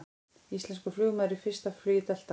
Íslenskur flugmaður í fyrsta flugi Delta